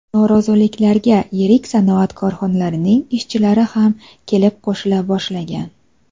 Noroziliklarga yirik sanoat korxonalarining ishchilari ham kelib qo‘shila boshlagan.